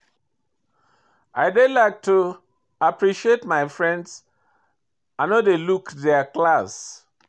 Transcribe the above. I dey like to appreciate my friends, I no dey look their class.